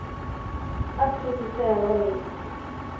ett tusen tre hundre og ni